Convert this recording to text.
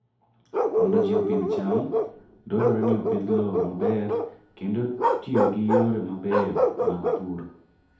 Mondo ji opidh cham, dwarore ni opidh lowo maber kendo tiyo gi yore mabeyo mag pur.